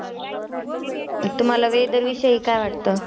तुम्हाला Weather विषयी काय वाटत?